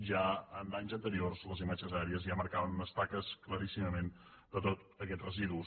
ja en anys anteriors les imatges aèries ja marcaven unes taques claríssimament de tots aquests residus